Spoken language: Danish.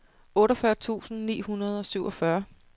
otteogfyrre tusind ni hundrede og syvogfyrre